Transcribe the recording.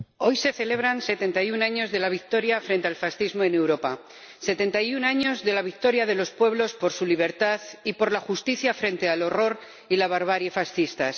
Señor Presidente, hoy se celebran setenta y un años de la victoria frente al fascismo en Europa, setenta y un años de la victoria de los pueblos por su libertad y por la justicia frente al horror y a la barbarie fascistas.